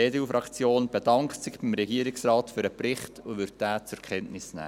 Die EDU-Fraktion bedankt sich beim Regierungsrat für den Bericht und wird ihn zur Kenntnis nehmen.